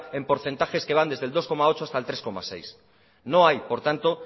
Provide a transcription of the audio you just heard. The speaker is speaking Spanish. en porcentajes que van desde el dos coma ocho por ciento hasta el tres coma seis por ciento no hay por tanto